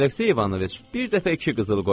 Aleksey İvanoviç, bir dəfə iki qızıl qoy.